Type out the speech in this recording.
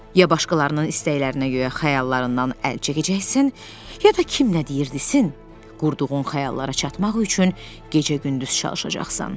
Ya başqalarının istəklərinə görə xəyallarından əl çəkəcəksən, ya da kim nə deyir desin, qurduğun xəyallara çatmaq üçün gecə-gündüz çalışacaqsan.